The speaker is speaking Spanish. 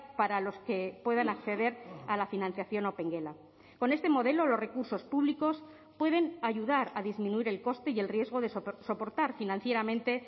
para los que puedan acceder a la financiación opengela con este modelo los recursos públicos pueden ayudar a disminuir el coste y el riesgo de soportar financieramente